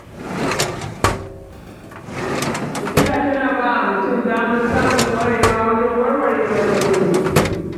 Tafiya tana bawa mutum damar samun ƙwarewa wajen warware matsaloli.